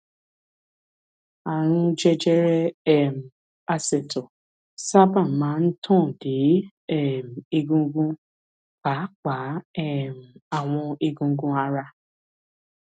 ààrùn jẹjẹrẹ um asẹ̀tọ̀ sábà máa ń tàn dé um egungun pàápàá um àwọn eegun ara